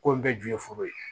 Ko in bɛɛ ju ye foro ye